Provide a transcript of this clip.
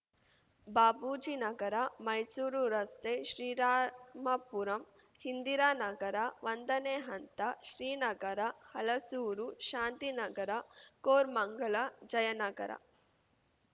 ಬಾಪೂಜಿನಗರ ಮೈಸೂರು ರಸ್ತೆ ಶ್ರೀರಾಮಪುರಂ ಇಂದಿರಾನಗರ ಒಂದನೇ ಹಂತ ಶ್ರೀನಗರ ಹಲಸೂರು ಶಾಂತಿನಗರ ಕೋರ್ ಮಂಗಲ ಜಯನಗರ